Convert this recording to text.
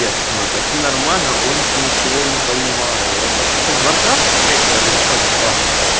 ясно таки нормально он ничего не понимаю это что-то из варкрафта третьего или что типа